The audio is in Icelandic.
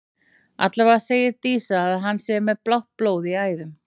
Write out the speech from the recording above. Allavega segir Dísa að hann sé með blátt blóð í æðum.